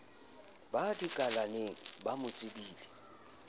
ba dikalaneng ba mo tsebileng